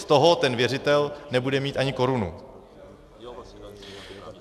Z toho ten věřitel nebude mít ani korunu.